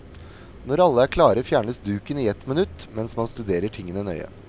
Når alle er klare fjernes duken i ett minutt mens man studerer tingene nøye.